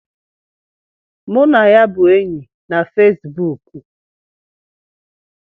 Mụ na ya bụ enyi na Fesibuk